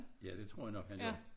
Ja det tror jeg nok han gør